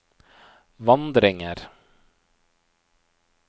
vandringer